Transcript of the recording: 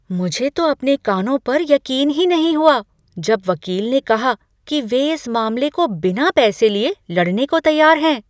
मुझे तो अपने कानों पर यकीन ही नहीं हुआ, जब वकील ने कहा कि वे इस मामले को बिना पैसे लिए लड़ने को तैयार हैं।